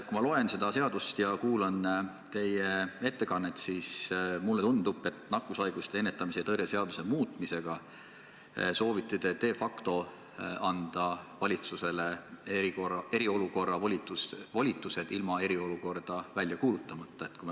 Kui ma loen seda seadust ja kuulan teie ettekannet, siis mulle tundub, et nakkushaiguste ennetamise ja tõrje seaduse muutmisega soovite te de facto anda valitsusele eriolukorra volitused ilma eriolukorda välja kuulutamata.